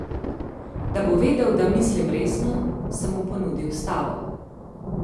Da bo vedel, da mislim resno, sem mu ponudil stavo.